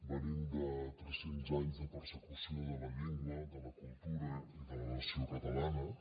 venim de tres cents anys de persecució de la llengua de la cultura i de la nació catalanes